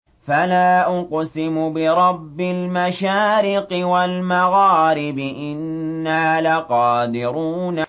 فَلَا أُقْسِمُ بِرَبِّ الْمَشَارِقِ وَالْمَغَارِبِ إِنَّا لَقَادِرُونَ